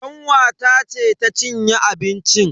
Kanwata ce ta cinye abincin.